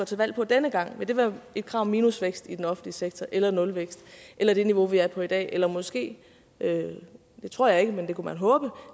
til valg på denne gang vil det være et krav om minusvækst i den offentlige sektor eller nulvækst eller det niveau vi er på i dag eller måske det tror jeg ikke men det kunne man håbe